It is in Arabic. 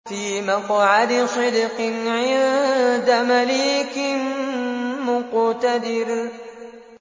فِي مَقْعَدِ صِدْقٍ عِندَ مَلِيكٍ مُّقْتَدِرٍ